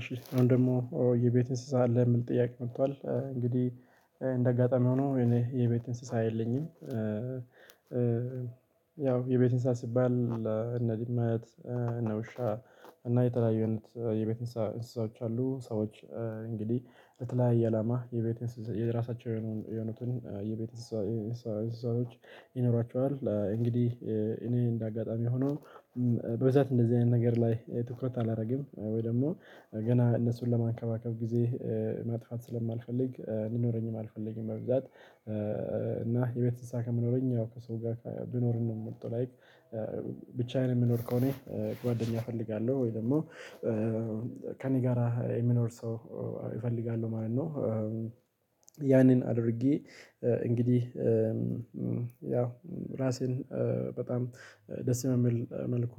እሺ አሁን ደግሞ የቤት እንስሳ አለ የሚል ጥያቄ መጥቷል እንግዲህ እንደ አጋጣሚ ሆኖ እኔ የቤት እንስሳ የለኝም። ያው የቤት እንስሳ ሲባል እነ ድመት እነ ውሻ እና የተለያዩ የቤት እንስሳዎች አሉ ሰዎች እንግዲህ የተለዯየ አላማ የቤት የራሳቸው የሆኑትን የቤት እንስሳዎች ይኖራቸዋል። እንግዲህ እኔ እንደ አጋጣሚ ሆኖ በብዛት እንደዚህ አይነት ነገር ላይ ትኩረት አላደረገም ወይ ደግሞ ገና እነሱን ለማከባከብ ጊዜ ማጥፋት ስለማልፈልግ እንዲኖረኝም አልፈልግም። መብዛት እና የቤት እንስሳ ከሚኖረኝ ያው ከሰው ጋር ቢኖርም ነው የምመርጠው። ላይክ ብቻዬን የምኖር ከሆነ ጓደኛ እፈልጋለሁ ወይ ደግሞ ከእኔ ጋራ የሚኖር ሰው እፈልጋለሁ ማለት ነው። ያንን አድርጌ እንግዲህ ያው ራሴን በጣም ደስ በሚል መልኩ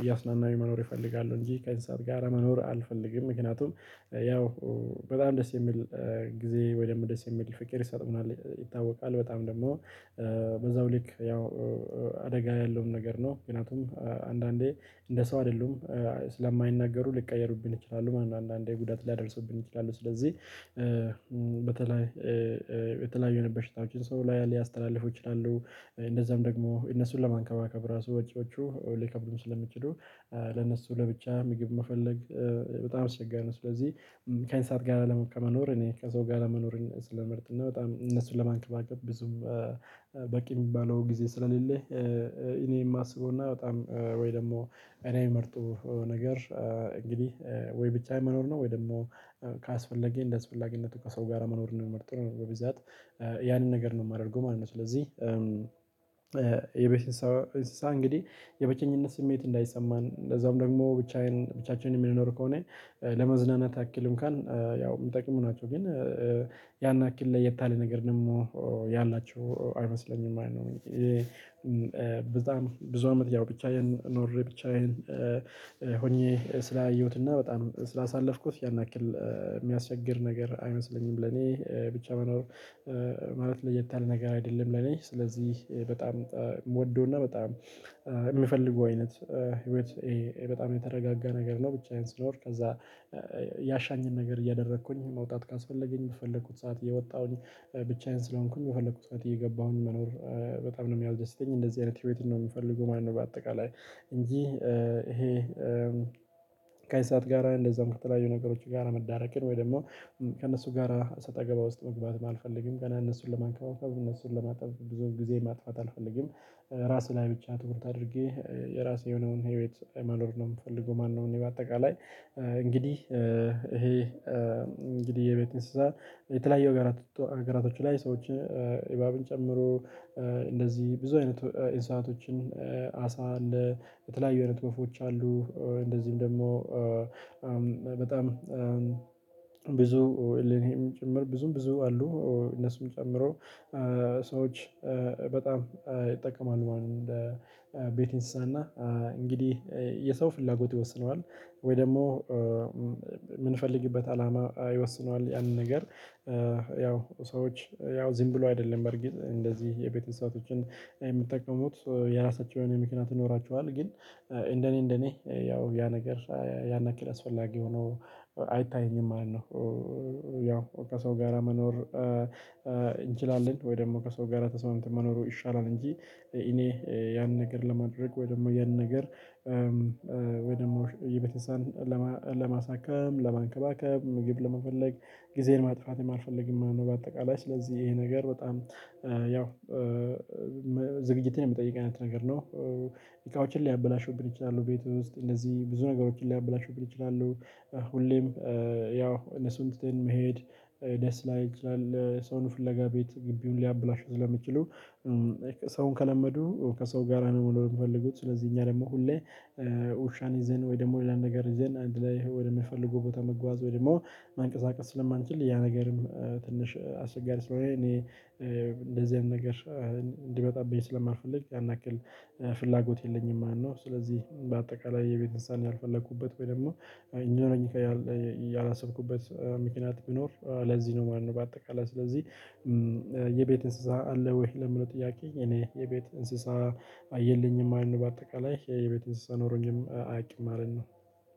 እያዝናናሁኝ መኖር ይፈልጋሉ እንጂ ከእንስሳትጋር መኖር አልፈልግም። ምክንያቱም ያው በጣም ደስ የሚል ጊዜ ወይም ደስ የሚል ፍቅር ይሰጡናል ይታወቃል በጣም ደግሞ በዛው ልክ ያው አደጋ ያለውም ነገር ነው። ምክንያቱም አንዳንዴ እንደ ሰው አይደሉም ስለማይናገሩ ልቀየሩብን ይችላሉ ማን አንዳንዴ ጉዳት ሊያደርሱብን ይችላሉ። ስለዚህ በተለይ የተለያዩ የበሽታዎችን ሰው ላይ ሊያስተላልፈው ይችላሉ እንደዛም ደግሞ እነሱን ለመንከባከብ ራሱ ወጪዎቹ ሊከብዱም ስለሚችሉ ለነሱ ለብቻ ምግብ መፈለግ በጣም አስቸጋሪ ነው። ስለዚህ ከእንስሳት ጋር ለመ ከመኖር እኔ ከሰው ጋር መኖርን ስለምመርጥ እና በጣም እነሱን ለማንከባከብ ብዙም በቂ የሚባለው ጊዜ ስለሌለ እኔ የማስበውና በጣም ወይ ደግሞ እኔ የምመርጠው ነገር እንግዲህ ወይ ብቻዬን መኖር ነው ወይ ደግሞ ካስፈለጌ እንደአስፈላጊነቱ ከሰው ጋር መኖርን ነው ምመርጠው በብዛት ያንን ነገር ነው የማደርገው ማለት ነው። ስለዚህ የቤት እንሶ እንስሳ እንግዲህ የብቸኝነት ስሜት እንዳይሰማን እንደዛውም ደግሞ ብቻዬን ብቻችንን የምንኖር ከሆነ ለመዝናናት አክል እንኳን ያው የሚጠቅሙ ናቸው ግን ያን አክል ለየት ያለ ነገር ደግሞ ያላቸው አይመስለኝም ማለት ነው። በጣም ብዙ አመት ያው ብቻዬን ኖሬ ብቻዬን ሆኜ ስላየሁትና በጣም ስላሳለፍኩት ያን ያክል የሚያስቸግር ነገር አይመስለኝም ለኔ ብቻ መኖር ማለት ለየት ያለ ነገር አይደለም። ለኔ ስለዚህ በጣም ምወደውና በጣም የምፈልገው አይነት ህይወት በጣም የተረጋጋ ነገር ነው። ብቻዬን ስኖር ከዛ ያሻኝን ነገር እያደረኩኝ መውጣት ካስፈለገኝ የፈለኩት ሰዓት እየወጣሁኝ ብቻዬን ስለሆንኩኝ የፈለኩት ሰዓት እየገባሁኝ መኖር በጣም ነው የሚያስደስተኝ እንደዚህ አይነት ህይወት ነው የምፈልገው ማለት ነው። በአጠቃላይ እንጂ ይሄ ከእንስሳት ጋር እንደዛም ከተለያዩ ነገሮች ጋር መዳረቅን ወይ ደግሞ ከእነሱ ጋራ ሰጣ ገባ ውስጥ መግባትም አልፈልግ ገና እነሱን ለማንከባከብ እነሱን ለማጠብ ብዙም ጊዜ ማጥፋት አልፈልግም። ራሴ ላይ ብቻ ትኩረት አድርጌ የራሴ የሆነውን ህይወት መኖር ነው የምፈልገው ማለት ነው። እኔ በአጠቃላይ እንግዲህ ይሄ እንግዲህ የቤት እንስሳ የተለያዩ አገራ አገራቶች ላይ ሰዎችን ኢባብን ጨምሮ እንደዚህ ብዙ አይነት ኢንሳአቶችን አሳ አለ በተለያዩ አይነት ክፍፎች አሉ እንደዚህም ደግሞ በጣም ብዙ እሌንሄም ጭምር ብዙም ብዙ አሉ እነሱም ጨምሮ ሰዎች በጣም ይጠቀማሉ ማለት ነው። እንደ ቤት ኢንስሳ እና እንግዲህ የሰው ፍላጎት ይወስነዋል ወይ ደግሞ የምንፈልግበት አላማ ይወስነዋል። ያንን ነገር ያው ሰዎች ያው ዝም ብሎ አይደለም በርግጥ እንደዚህ የቤተሰቦችን የምትጠቀሙት የራሳቸው የሆነ የምክንያት ይኖራችኋል ግን እንደኔ እንደኔ ያው ያ ነገር ያን አክል አስፈላጊ ሆኖ አይታይኝም ማለት ነው። ያው ከሰው ጋራ መኖር እንችላለን ወይ ደግሞ ከሰው ጋር ተስማምተን መኖሩ ይሻላል እንጂ እኔ ያን ነገር ለማድረግ ወይ ደግሞ ያንን ነገር ወይ ደግሞ የቤት እንስሳን ለማሳከም ለማንከባከብ ምግብ ለመፈለግ ጊዜን ማጥፋትም አልፈልግም ማለት ነው። በአጠቃላይ ስለዚህ ይሄ ነገር በጣም ያው ዝግጅትን የሚጠይቅ አይነት ነገር ነው። እቃዎችን ሊያበላሹብን ይችላሉ ቤት ውስጥ እነዚህ ብዙ ነገሮችን ሊያበላሹብን ይችላሉ። ሁሌም ያው እነሱን ትተን መሄድ ደስ ላይል ይችላል ሰውን ፍለጋ ቤት ግቢውን ሊያብላሹ ስለሚችሉ። ሰውን ከለመዱ ከሰው ጋር ነው መሆን የምፈልጉት። ስለዚህ እኛ ደግሞ ሁሌ ውሻን ይዘን ወይ ደግሞ ሌላ ነገር ይዘን አንድ ላይ ወደሚፈልጉ ቦታ መጓዝ ወይ ደግሞ ማንቀሳቀስ ስለማንችል ያ ነገርም ትንሽ አስቸጋሪ ስለሆነ እኔ እንደዚህ አይነት ነገር እንዲመጣብኝ ስለማልፈልግ ያናክል ፍላጎት የለኝም ማለት ነው። ስለዚህ በአጠቃላይ የቤት እንስሳን ያልፈለኩበት ወይም ደግሞ እንዲኖረኝ ያላሰብኩበት ምክኒያት ቢኖር ለዚህ ነው ማለት ነው። በአጠቃላይ ስለዚህ የቤት እንስሳ አለ ወይ ለሚለው ጥያቄ እኔ የቤት እንስሳ የለኝም ማለት ነው። በአጠቃላይ የቤት እንስሳ ኖሮኝም አያቅም ማለት ነው።